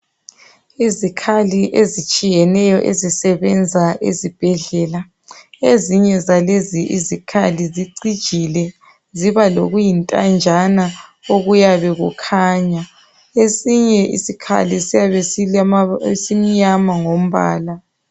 Izikhali ezitshiyeneyo ezisebenza ezibhedlela ezinye zalezo izikhali zicijile ziba lokuyintanjana okuyabe kukhanya esinye salezo zikhali silombala omnyama